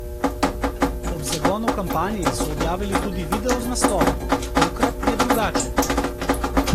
Ob zagonu kampanje so objavili tudi video z naslovom: 'Tokrat je drugače.